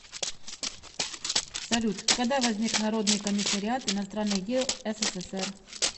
салют когда возник народный комиссариат иностранных дел ссср